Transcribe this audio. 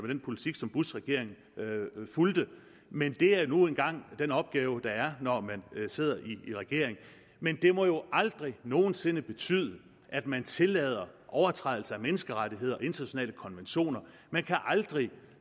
den politik som bushregeringen fulgte men det er nu engang den opgave der er når man sidder i regering men det må jo aldrig nogen sinde betyde at man tillader overtrædelser af menneskerettigheder og internationale konventioner man kan aldrig